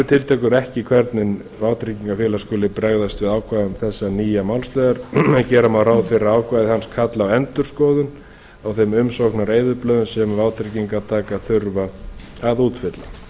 upplýsingagjöfina eru ekki hvernig vátryggingafélag skuli bregðast við ákvæðum þessa nýja málsliðar en gera má ráð fyrir að ákvæði hans kalli á endurskoðun á þeim umsóknareyðublöðum sem vátryggingartakar þurfa að útfylla